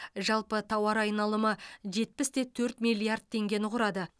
жалпы тауар айналымы жетпіс те төрт миллиард теңгені құрады